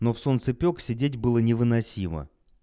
но в солнцепёк сидеть было невыносимо